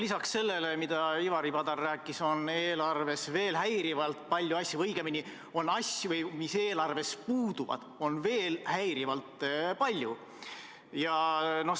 Lisaks sellele, mida Ivari Padar rääkis, on asju, mis eelarvest puuduvad, veel häirivalt palju.